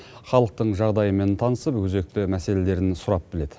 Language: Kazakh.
халықтың жағдайымен танысып өзекті мәселелерін сұрап біледі